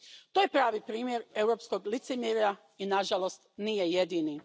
To je pravi primjer europskog licemjerja i nažalost nije jedini.